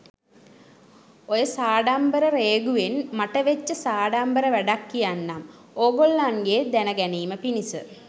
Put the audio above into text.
ඔය සාඩම්බර රේගුවෙන් මට වෙච්ච සාඩම්බර වැඩක් කියන්නම් ඕගොල්ලන්ගේ දැන ගැනීම පිණිස